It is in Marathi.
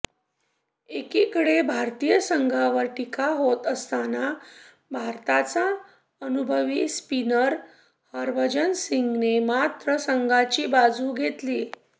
एकीकडे भारतीय संघावर टीका होत असताना भारताचा अनुभवी स्पिनर हरभजन सिंगने मात्र संघाची बाजू घेतलीये